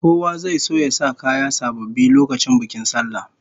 Kowa zai so ya sa kaya sababbi lokacin bikin sallah